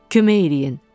Kömək eləyin.